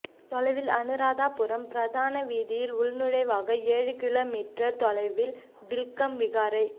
தொலைவில் அனுராதபுரம் பிரதான வீதியிலிருந்து உள்நுழைவாக ஏழு கிலோ மீற்றர் தொலைவில் வில்கம் விகாரை